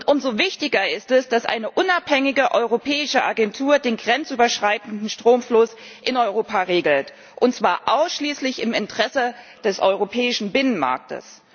Umso wichtiger ist es, dass eine unabhängige europäische Agentur den grenzüberschreitenden Stromfluss in Europa regelt, und zwar ausschließlich im Interesse des europäischen Binnenmarktes.